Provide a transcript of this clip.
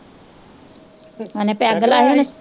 ਉਨੇ ਪੈਗ ਲਾਇਆ ਹੀ ਨਾ।